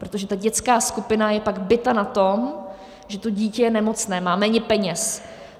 Protože ta dětská skupina je pak bita na tom, že to dítě je nemocné, má méně peněz.